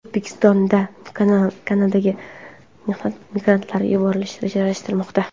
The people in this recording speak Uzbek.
O‘zbekistondan Kanadaga mehnat migrantlari yuborilishi rejalashtirilmoqda.